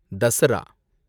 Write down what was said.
Dussehra